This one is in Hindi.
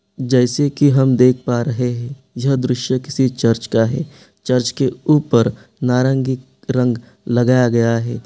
जैसे के हम देख पा रहे हैं यह दृश्य किसी चर्च का है| चर्च के ऊपर नारंगी रंग लगाया गया है।